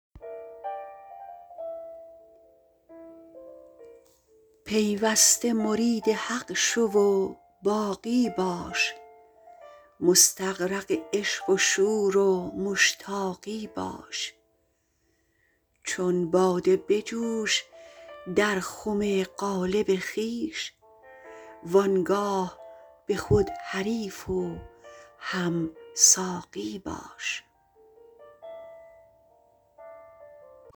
پیوسته مرید حق شو و باقی باش مستغرق عشق و شور و مشتاقی باش چون باده بجوش در خم قالب خویش وانگاه به خود حریف و هم ساقی باش